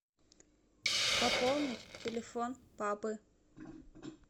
пополнить телефон папы